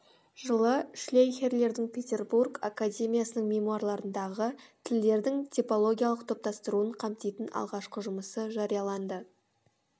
жылы шлейхердің петербург академиясының мемуарларындағы тілдердің типологиялық топтастыруын қамтитын алғашқы жұмысы жарияланды